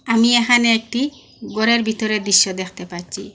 আমি এখানে একটি গরের ভিতরের দৃশ্য দেখতে পাচ্ছি।